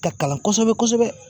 Ka kalan kɔsɛbɛ kɔsɛbɛ.